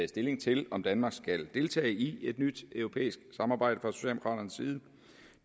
stilling til om danmark skal deltage i et nyt europæisk samarbejde